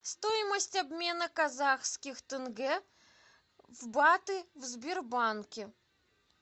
стоимость обмена казахских тенге в баты в сбербанке